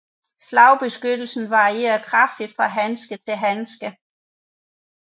Slagbeskyttelsen varierer kraftigt fra handske til handske